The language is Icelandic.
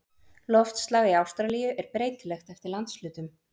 Loftslag í Ástralíu er breytilegt eftir landshlutum.